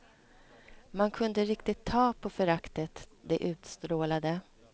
Man kunde riktigt ta på föraktet de utstrålade.